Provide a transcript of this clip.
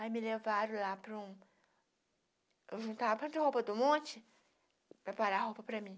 Aí me levaram lá para um... Eu juntava pronta a roupa do monte, preparava a roupa para mim.